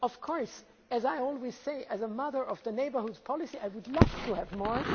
Of course as I always say as a mother of the neighbourhood policy I would love to have more.